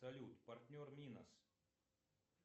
салют партнер минос